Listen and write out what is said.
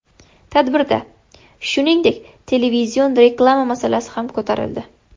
Tadbirda, shuningdek, televizion reklama masalasi ham ko‘tarildi.